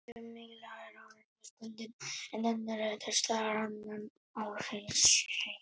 Sum mygla er árstíðabundin en önnur er til staðar allan ársins hring.